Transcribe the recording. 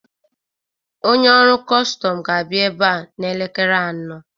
Onye ọrụ kọstọm ga-abịa ebe a n'elekere anọ